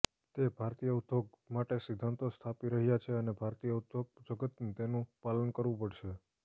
તે ભારતીય ઉદ્યોગ માટે સિદ્ધાંતો સ્થાપી રહ્યા છે અને ભારતીય ઉદ્યોગજગતે તેનું પાલન કરવું પડશે